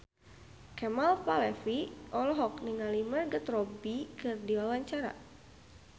Kemal Palevi olohok ningali Margot Robbie keur diwawancara